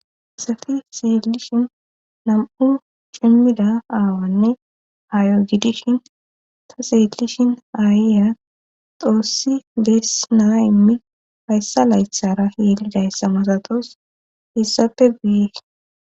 essafi seelishin nam;u cimmida aawanne ayo gidishin ta seelishin aayeya xoossi beesnaa immi hayssa laythara yelidayssamasatos issappe biye..